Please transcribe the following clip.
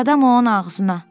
Qadam onun ağzına!